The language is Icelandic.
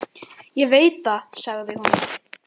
Ég veit það, sagði hún.